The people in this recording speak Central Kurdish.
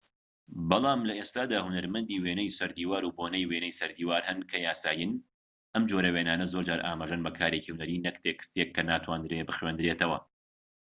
بەڵام لە ئێستادا هونەرمەندی وێنەی سەردیوار و بۆنەی وینەی سەردیوار هەن کە یاسایین ئەم جۆرە وێنانە زۆرجار ئاماژەن بە کارێکی هونەری نەک تێکستێک کە ناتواندرێ بخوێندرێتەوە